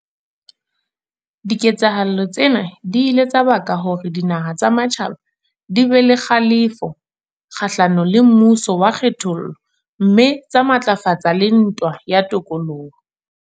Diketsahalo tsena di ile tsa baka hore dinaha tsa matjhaba di be le kgalefo kgahlano le mmuso wa kgethollo mme tsa matlafatsa le ntwa ya tokoloho.